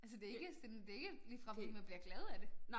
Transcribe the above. Altså det ikke sådan det ikke ligefrem fordi man bliver glad af det